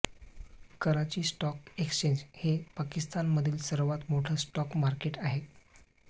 कराची stock exchange हे पाकिस्तानमधील सर्वांत मोठं स्टॉक मार्केट आहे